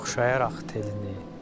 Oxşayaraq telini.